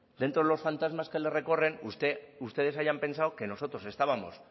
dentro de los fantasmas que les recorren ustedes hayan pensado que nosotros estábamos